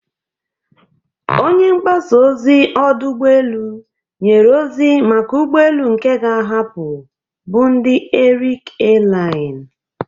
Onye mgbasa ozi ọdụ ụgbọ elu nyere ozi maka ụgbọ elu nke ga-ahapụ bụ ndị Arik Airline.